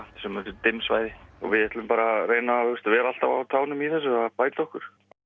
dimm svæði við ætlum bara að reyna að vera alltaf á tánum í þessu að bæta okkur